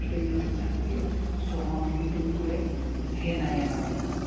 गोष्ट invent झालीय so मंग ही इथून पुढे हे नाय येनाराय